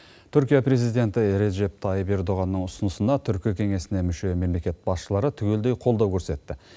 түркия президенті режеп тайып ердоғанның ұсынысына түркі кеңесіне мүше мемлекет басшылары түгелдей қолдау көрсетті